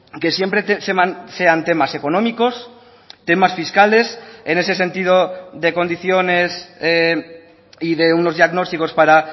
que siempre sean temas económicos temas fiscales en ese sentido de condiciones y de unos diagnósticos para